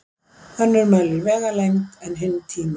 Önnur mælir vegalengd en hin tíma.